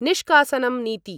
निष्कासनं नीति